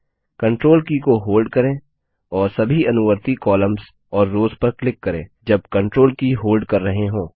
control key को hold करें और सभी अनुवर्ती कॉलम्स और रोव्स पर क्लिक करें जब कंट्रोल की होल्ड कर रहे हों